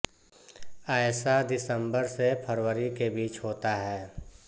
ऐसा दिसम्बर से फरवरी के बीच होता है